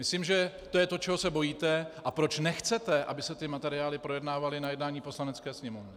Myslím, že to je to, čeho se bojíte a proč nechcete, aby se ty materiály projednávaly na jednání Poslanecké sněmovny.